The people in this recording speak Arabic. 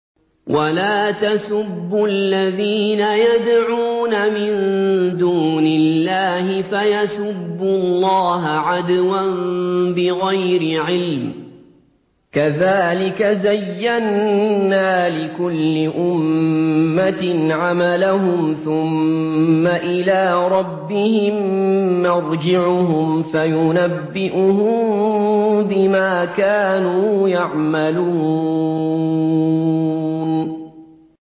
وَلَا تَسُبُّوا الَّذِينَ يَدْعُونَ مِن دُونِ اللَّهِ فَيَسُبُّوا اللَّهَ عَدْوًا بِغَيْرِ عِلْمٍ ۗ كَذَٰلِكَ زَيَّنَّا لِكُلِّ أُمَّةٍ عَمَلَهُمْ ثُمَّ إِلَىٰ رَبِّهِم مَّرْجِعُهُمْ فَيُنَبِّئُهُم بِمَا كَانُوا يَعْمَلُونَ